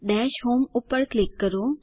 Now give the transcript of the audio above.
દશ હોમ ઉપર ક્લિક કરો